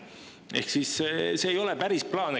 Ehk siis see ei ole päris plaan.